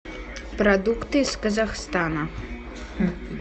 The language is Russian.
продукты из казахстана